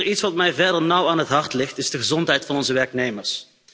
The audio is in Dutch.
Iets wat mij verder nauw aan het hart ligt, is de gezondheid van onze werknemers.